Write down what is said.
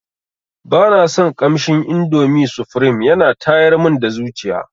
Bana son kamshin indomi sufrim yana tayar mun da zuciya.